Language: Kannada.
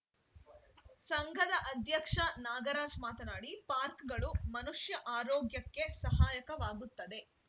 ಸಂಘದ ಅಧ್ಯಕ್ಷ ನಾಗರಾಜ್‌ ಮಾತನಾಡಿ ಪಾರ್ಕ್ ಗಳು ಮನುಷ್ಯ ಆರೋಗ್ಯಕ್ಕೆ ಸಹಾಯಕವಾಗುತ್ತದೆ